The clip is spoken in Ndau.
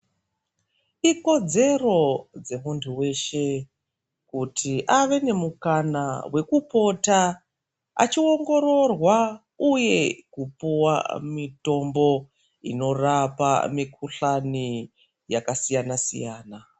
Ikodzero dzemuntu weshe kuti ave nemukana wekupota achiongororwa uye kupuwa mitombo inorapa mikhuhlani yakasiyana siyana.